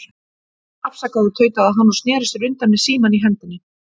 Afsakaðu, tautaði hann og sneri sér undan með símann í hendinni.